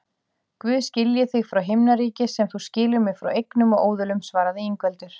Guð skilji þig frá himnaríki sem þú skilur mig frá eignum og óðulum, svaraði Ingveldur.